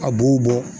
A b'o bɔ